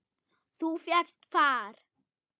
Þú fékkst far?